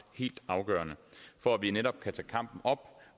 helt afgørende for at vi netop kan tage kampen op